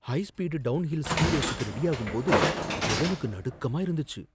High speed downhill ski ரேசுக்கு ரெடியாகும்போது ஜெகனுக்கு நடுக்கமா இருந்துச்சு.